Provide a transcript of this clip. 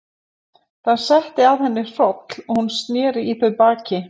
Það setti að henni hroll og hún sneri í þau baki.